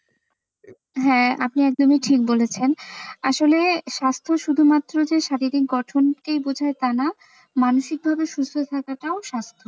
হ্যাঁ, আপনি একদমই ঠিক বলেছেন আসলে স্বাস্থ্য শুধুমাত্র যে শারীরিক গঠন ই বোঝায় তা না মানসিকভাবে সুস্থ থাকাটাও স্বাস্থ্য।